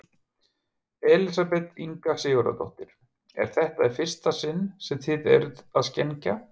Elísabet Inga Sigurðardóttir: Er þetta í fyrsta sinn sem þið eruð að skenkja?